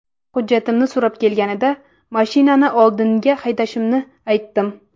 Hujjatimni so‘rab kelganida mashinani oldinga haydashimni aytdim.